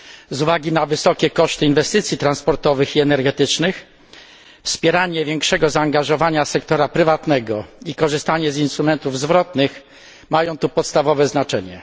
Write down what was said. Ze względu na wysokie koszty inwestycji transportowych i energetycznych, wspieranie większego zaangażowania sektora prywatnego i korzystanie z instrumentów zwrotnych mają tu podstawowe znaczenie.